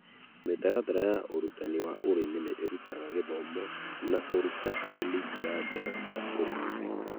Mĩtaratara ya ũrutani wa ũrĩmi ni irũtaga gĩthomo na kũruta arĩmi njĩra njega cia ũrĩmi